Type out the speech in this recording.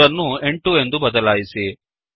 3 ಅನ್ನು 8 ಎಂದು ಬದಲಾಯಿಸಿ